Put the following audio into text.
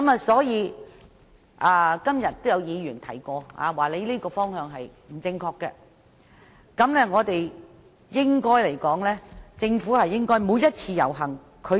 所以，今天也有議員指出他這個方向不正確，政府應正視每一次遊行。